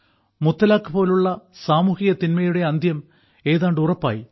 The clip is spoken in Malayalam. മുത്തലാഖ് പോലുള്ള സാമൂഹിക തിന്മയുടെ അന്ത്യം ഏതാണ്ട് ഉറപ്പായി